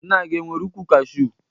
Nna gị e nwere ukwụ Kashu?